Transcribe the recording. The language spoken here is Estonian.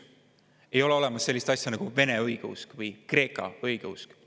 Ei ole olemas sellist asja nagu vene õigeusk või kreeka õigeusk.